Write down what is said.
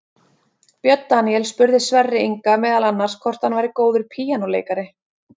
Björn Daníel spurði Sverri Inga meðal annars hvort hann væri góður píanóleikari.